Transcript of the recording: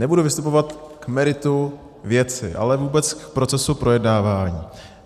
Nebudu vystupovat k meritu věci, ale vůbec k procesu projednávání.